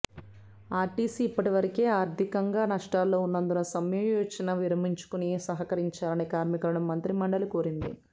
RTC ఇప్పటికే ఆర్థికంగా నష్టాల్లో ఉన్నందున సమ్మె యోచన విరమించుకుని సహకరించాలని కార్మికులను మంత్రిమండలి కోరింది